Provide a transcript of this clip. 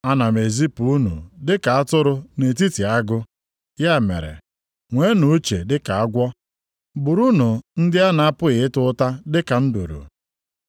“Ana m ezipu unu dị ka atụrụ nʼetiti agụ. Ya mere, nweenụ uche dịka agwọ. Burunu ndị a na-apụghị ịta ụta dịka nduru.